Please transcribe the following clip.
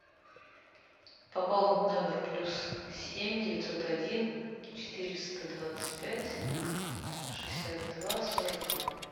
пополнить номер плюс семь девятьсот один четыреста двадцать пять шестьдесят два сорок два